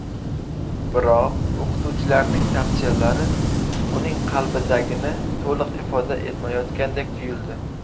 Biroq o‘qituvchilarning tavsiyalari uning qalbidagini to‘liq ifoda etmayotgandek tuyuldi.